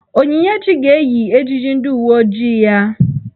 Onyinyechi ga-eyi ejiji ndị uwe ojii ya.